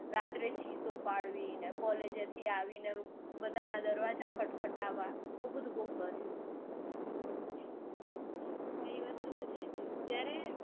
રાત્રે ચીસો પાડવી ને collage થી બધાના દરવાજા ખટખટાવા. આવું બધું બૌ કર્યું. ના એ વસ્તુ તો છે જયારે